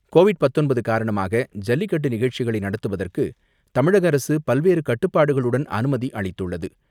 Covid பத்தொன்பது காரணமாக ஜல்லிக்கட்டு நிகழ்ச்சிகளை நடத்துவதற்கு தமிழக அரசு பல்வேறு கட்டுப்பாடுகளுடன் அனுமதி அளித்துள்ளது.